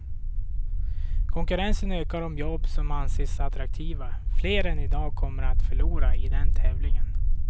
Konkurrensen ökar om jobb som anses attraktiva, fler än i dag kommer att förlora i den tävlingen.